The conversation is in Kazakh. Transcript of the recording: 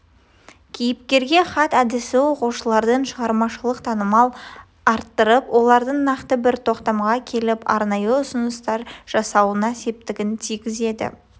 кейіпкерге хат әдісі оқушылардың шығармашылық танымын арттырып олардың нақты бір тоқтамға келіп арнайы ұсыныстар жасауына септігін тигізеді